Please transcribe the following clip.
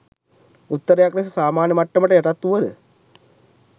උත්තරයක් ලෙස සාමාන්‍ය මට්ටමට යටත්වුවද